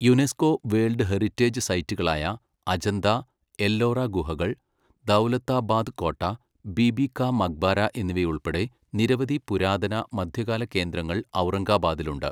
UNESCO world heritage സൈറ്റുകളായ അജന്താ, എല്ലോറ ഗുഹകൾ, ദൗലതാബാദ് കോട്ട, ബീബി കാ മക്ബാര എന്നിവയുൾപ്പെടെ നിരവധി പുരാതന, മധ്യകാല കേന്ദ്രങ്ങൾ ഔറംഗബാദിൽ ഉണ്ട്.